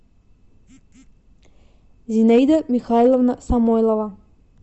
зинаида михайловна самойлова